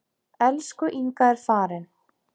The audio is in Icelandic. Elsku Inga er farin.